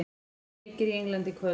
Sjö leikir í Englandi í kvöld